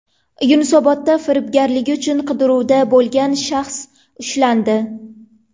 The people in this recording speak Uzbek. Yunusobodda firibgarligi uchun qidiruvda bo‘lgan shaxs ushlandi.